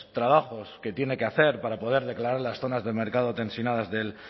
trabajos que tiene que hacer para poder declarar las zonas de mercado tensionadas del